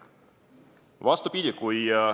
Vastupidi!